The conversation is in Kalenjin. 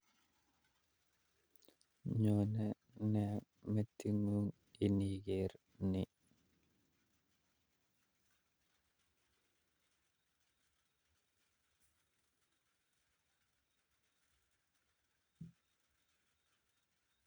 Nyone nee matiit ngun iniker nii